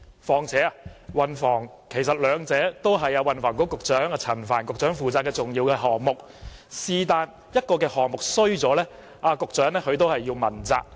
其實，運輸和房屋都是運輸及房屋局陳帆局長負責的重要項目，任何一個項目出現問題，局長都要被問責。